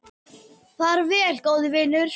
Far vel, góði vinur.